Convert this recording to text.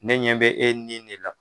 Ne ɲɛ bɛ e nin ne la.